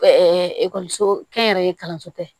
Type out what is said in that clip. ekɔliso kɛnyɛrɛye kalanso tɛ